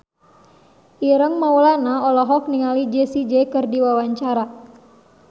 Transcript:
Ireng Maulana olohok ningali Jay Z keur diwawancara